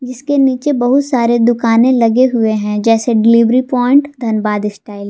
इसके नीचे बहुत सारे दुकाने लगे हुए है जैसे डिलीवरी पॉइंट धनबाद स्टाइल --